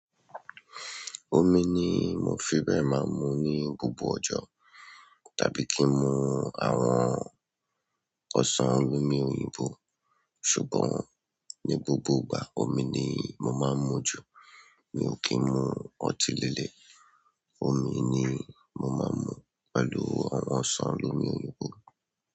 Omi ni mo fẹ́ bẹ̀rẹ̀ máa mu ní gbogbo ọjọ́ tàbí kí n mu àwọn ọsàn olómi-òyìnbó. Ṣùgbọ́n ní gbogbo ìgbà, omi ni mo máa ń mu jù. Mi ò kí ń mu ọtí lilẹ̀. Omi ni mo máa ń mu pẹ̀lú àwọn ọsàn olómi-òyìnbó.